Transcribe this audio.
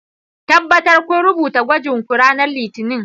Tabbatar kun rubuta gwajin ku ranar Litinin!